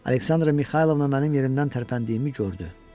Aleksandra Mixaylovna mənim yerimdən tərpəndiyimi gördü.